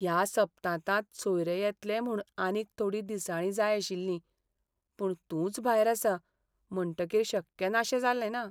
ह्या सप्तांतांत सोयरे येतले म्हूण आनीक थोडीं दिसाळीं जाय आशिल्लीं, पूण तूंच भायर आसा म्हणटकीर शक्य नाशें जालेंना?